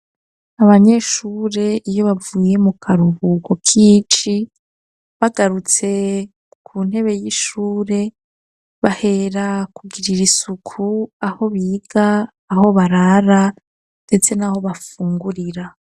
Abanyeshure, iyo bavuye mu karuhuko k'ici, bagarutse ku ntebe y'ishure, bahera kugirira isuku, aho biga, aho barara, ndetse n'aho bafungurira.